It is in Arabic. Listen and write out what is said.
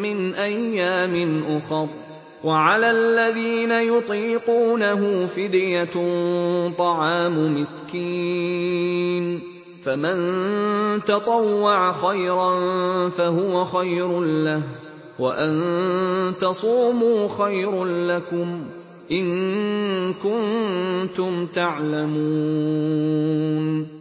مِّنْ أَيَّامٍ أُخَرَ ۚ وَعَلَى الَّذِينَ يُطِيقُونَهُ فِدْيَةٌ طَعَامُ مِسْكِينٍ ۖ فَمَن تَطَوَّعَ خَيْرًا فَهُوَ خَيْرٌ لَّهُ ۚ وَأَن تَصُومُوا خَيْرٌ لَّكُمْ ۖ إِن كُنتُمْ تَعْلَمُونَ